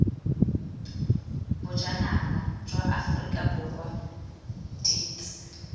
bojanala jwa aforika borwa deat